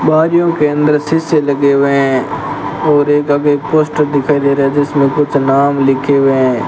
गाड़ियों के अंदर शीशे लगे हुए हैं और एक आगे पोस्टर दिखाई दे रहा है जिसमें कुछ नाम लिखे हुए हैं।